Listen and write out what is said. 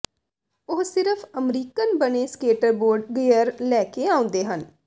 ਉਹ ਸਿਰਫ ਅਮਰੀਕਨ ਬਣੇ ਸਕੇਟਬੋਰਡ ਗਈਅਰ ਲੈ ਕੇ ਆਉਂਦੇ ਹਨ